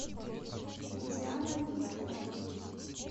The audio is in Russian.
диана викторовна